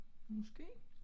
Måske